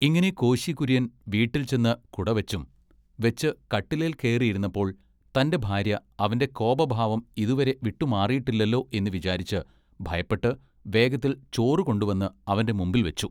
ഇങ്ങിനെ കോശികുര്യൻ വീട്ടിൽ ചെന്നു കുടവെച്ചും വെച്ച് കട്ടിലേൽ കേറിയിരുന്നപ്പോൾ തന്റെ ഭാര്യ അവന്റെ കോപഭാവം ഇതുവരെ വിട്ടു മാറിയിട്ടില്ലല്ലോ എന്ന് വിചാരിച്ച് ഭയപ്പെട്ട് വേഗത്തിൽ ചോറുകൊണ്ടുവന്ന് അവന്റെ മുമ്പിൽ വച്ചു.